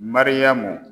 Mariyamu